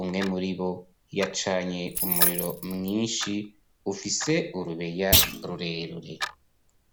umwe muri bo yacanye umuriro mwinshi ufise urubeya rurenge